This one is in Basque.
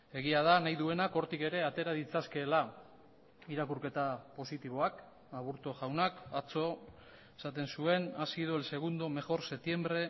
egia da nahi duenak hortik ere atera ditzakeela irakurketa positiboak aburto jaunak atzo esaten zuen ha sido el segundo mejor septiembre